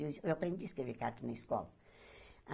Eu es eu aprendi a escrever cartas na escola.